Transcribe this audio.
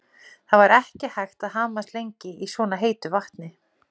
Það var ekki hægt að hamast lengi í svona heitu vatni.